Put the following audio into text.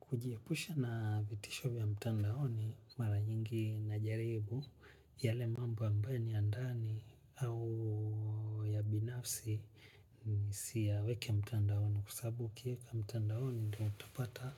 Kujiepusha na vitisho vya mtandahoni mara nyingi najaribu. Yale mambo ambayo ni ya ndani au ya binafsi ni siyaweki mtandahoni. Kua sabu nikieka mtandahoni utapata